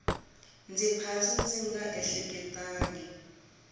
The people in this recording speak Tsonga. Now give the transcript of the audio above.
ndzi phasa ndzi nga ehleketangi